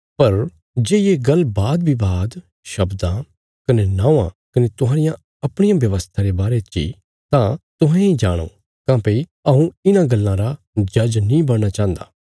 पर जे ये गल्ल वादविवाद शब्दां कने नौआं कने तुहांरिया अपणिया व्यवस्था रे बारे ची तां तुहें इ जाणो काँह्भई हऊँ इन्हां गल्लां रा जज नीं बणना चाहन्दा